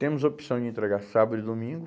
Temos a opção de entregar sábado e domingo.